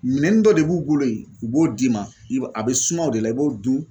Minɛnin dɔ de b'u bolo ye u b'o d'i ma i b'a a bɛ suma o de la i b'o dun